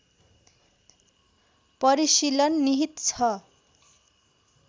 परिशीलन निहित छ